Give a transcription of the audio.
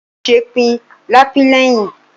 Ojú kì í ṣe pin ká pín léhín.